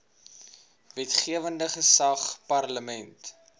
wetgewende gesag parlement